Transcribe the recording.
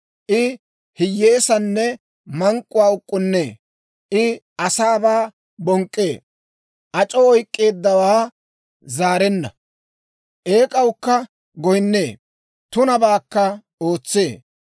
I hiyyeesaanne mank'k'uwaa uk'k'unnee; I asaabaa bonk'k'ee; ac'oo oyk'k'eeddawaa zaarenna; eek'awukka goyinnee; tunabaakka ootsee;